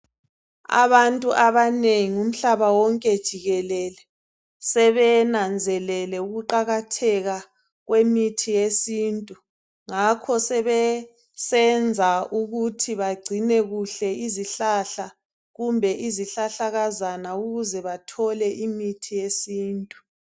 Abantu abanengi umhlaba wonke jikelele sebenanzelele ukuqakatheka kwemithi yesintu. Ngakho sebesenza ukuthi bagcine kuhle izihlahla kumbe izihlahlakazana ukuze bethole imithi yesintu.